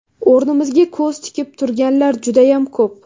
O‘rnimizga ko‘z tikib turganlar judayam ko‘p.